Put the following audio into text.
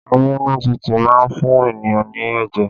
Amunututu má ń fún ènìyàn ní ẹ̀jẹ̀